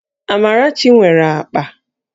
Amarachi nwere akpa